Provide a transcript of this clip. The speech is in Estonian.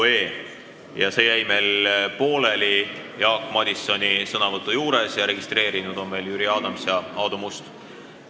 Selle arutelu jäi meil pooleli Jaak Madisoni sõnavõtusoovi juures ja registreerunud on veel Jüri Adams ja Aadu Must.